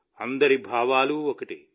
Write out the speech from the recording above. అందరి భావాలు ఒక్కటే